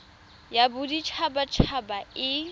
ya bodit habat haba e